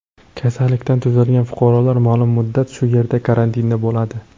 Kasallikdan tuzalgan fuqarolar ma’lum muddat shu yerda karantinda bo‘ladi.